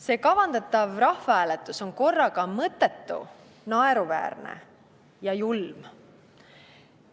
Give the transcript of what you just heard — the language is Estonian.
See kavandatav rahvahääletus on korraga mõttetu, naeruväärne ja julm.